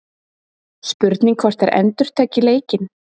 Spurning hvort að þær endurtaki leikinn?